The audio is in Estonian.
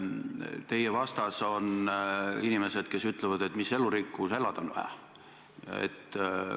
Teie vastas on inimesed, kes ütlevad, et mis elurikkus – elada on vaja.